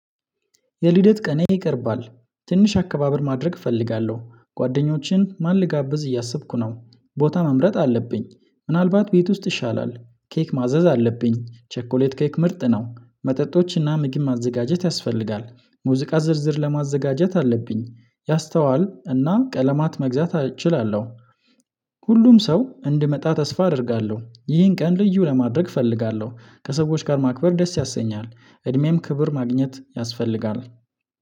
የሊደት ቀኔ ይቀርባል ትንሽ አከባበር ማድረግ እፈልጋለሁ ጓደኞችን ማን ልጋብዝ እያሰብኩ ነው ቦታ መምረጥ አለብኝ ምናልባት ቤት ውስጥ ይሻላል ኬክ ማዘዝ አለብኝ ቸኮሌት ኬክ ምርጥ ነው መጠጦችና ምግብ ማዘጋጀት ያስፈልጋል ሙዚቃ ዝርዝር ለማዘጋጀት አለብኝ ያስተዋል እና ቀለማት መግዛት እችላለሁ። ሁሉም ሰው እንድመጣ ተስፋ አደርጋለሁ ይህን ቀን ልዩ ለማድረግ እፈልጋለሁ ከሰዎች ጋር ማክበር ደስ ያሰኛል እድሜም ክብር ማግኘት ያስፈልጋል።